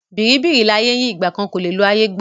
Bìríbìrí láyé ń yí ìgbà kan kò lè lo ayé gbó.